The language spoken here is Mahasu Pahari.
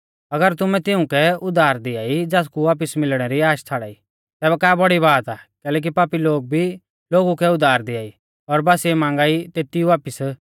अगर तुमै तिउंकै उधार दिआई ज़ासकु वापिस मिलणै री आश छ़ाड़ाई तै का बौड़ी बात आ कैलैकि पापी लोग भी पापी लोगु कै उधार दिआई और बासिऐ मांगा ई तेती वापिस